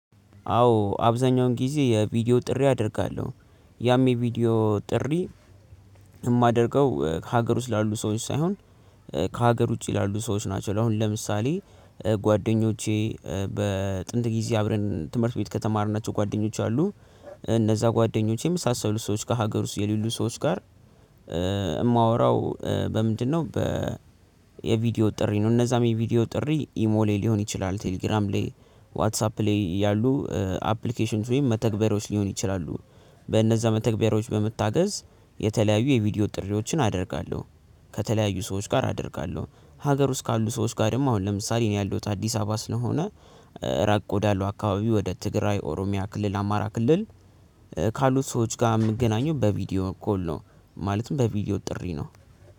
አዎ አብዛኛውን ጊዜ የቪዲዮ ጥሪ አደርጋለሁ። ያም የቪዲዮ ጥሪ የማደርገው ከሀገር ውስጥ ላሉ ሰዎች ሳይሆን ከሀገር ውጪ ላሉ ሰዎች ናቸው። አሁን ለምሳሌ ጓደኞቼ በጥንት ጊዜ አብረን ትምህርት ቤት ከተማርናቸው ጓደኞች አሉ እነዛ ጓደኞቼም የመሳሰሉ ሰዎች ጋር ሀገር ውስጥ የሌሉ ሰዎች ጋር የማወራው በምንድነው? በ የቪዲዮ ጥሪ ነው። እነዛም የቪዲዮ ጥሪ ኢሞሌ ሊሆን ይችላል ቴሌግራም ላይ ዋትሳፕ ላይ ያሉ አፕሊኬሽን ወይም መተግበሮች ሊሆን ይችላሉ። በእነዛ መተግበሮች በምታገዝ የተለያዩ የቪዲዮ ጥሪዎችን አደርጋለሁ። ከተለያዩ ሰዎች ጋር አደርጋለሁ። ሀገር ውስጥ ካሉ ሰዎች ጋርም አሁን ለምሳሌ እኔ ያለውት አዲስ አበባ ስለሆነ ራቅ ወዳለው አካባቢ ወደ ትግራይ ኦሮሚያ ክልል አማራ ክልል ካሉት ሰዎች ጋር የምገናኘው በቪዲዮ ኮል ነው። ማለትም በቪዲዮ ጥሪ ነው።